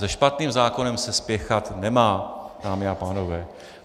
Se špatným zákonem se spěchat nemá, dámy a pánové.